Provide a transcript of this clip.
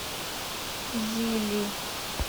зили